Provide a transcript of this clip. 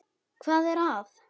Hvað er að?